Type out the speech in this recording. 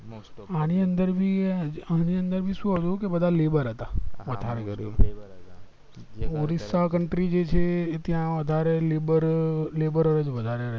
આની અંદર ભી આની અંદર ભી શું હતું કે બધા labor હતા વધારે ઉડીસા country જે છે ત્યાં વધારે labor labour જ વધારે છે